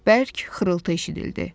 Bərk xırıltı eşidildi.